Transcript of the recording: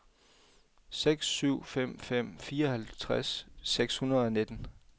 seks syv fem fem fireoghalvtreds seks hundrede og nitten